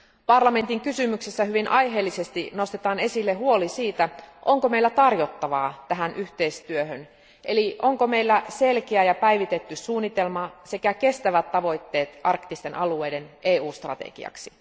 Parlamentin kysymyksessä hyvin aiheellisesti nostetaan esille huoli siitä, onko meillä tarjottavaa tähän yhteistyöhön, eli onko meillä selkeä ja päivitetty suunnitelma sekä kestävät tavoitteet arktisten alueiden EU strategiaksi.